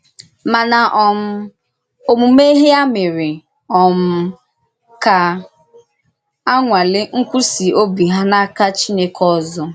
Màna um òmùmè ya mèrè um ka a nwàlè nkwụsì òbì hà n’áka Chìnèkè òzò.